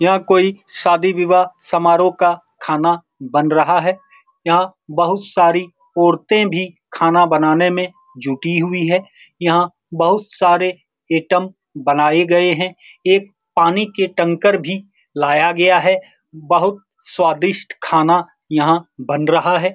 यहाँ कोई शादी विवाह समारोह का खाना बन रहा है यहाँ बहुत सारी औरते भी खाना बनाने में जुटी हुई हैं यहाँ बहुत सारे आइटम्स बनाए गये हैं एक पानी के टैंकर भी लाया गया है बहुत स्वादिस्ट खाना यहाँ बन रहा है ।